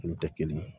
Olu tɛ kelen ye